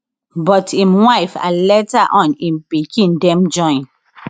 but im wife and later on im pikin dem join